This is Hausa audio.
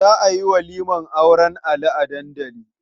Za a yi walimar auren Ali a dandali.